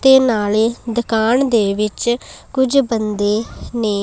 ਤੇ ਨਾਲੇ ਦੁਕਾਨ ਦੇ ਵਿੱਚ ਕੁਝ ਬੰਦੇ ਨੇ--